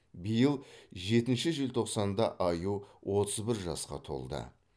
биыл жетінші желтоқсанда аю отыз бір жасқа толды